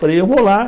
Falei, eu vou lá.